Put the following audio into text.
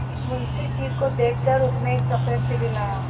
मुंशी जी को देख कर उसने एक दफे सिर हिलाया